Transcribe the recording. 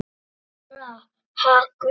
Það er allra hagur.